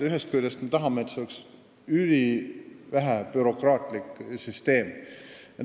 Ühest küljest me tahame, et selles süsteemis oleks ülivähe bürokraatlikkust.